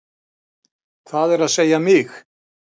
Það er að segja mig.